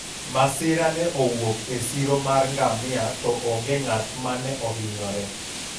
masira ne owuok e siro mar ngamia to onge ng'at mane ohinyore